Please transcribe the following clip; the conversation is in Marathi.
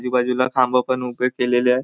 आजूबाजूला खांब पण उभे केलेले आहे.